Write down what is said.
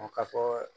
O ka fɔɔ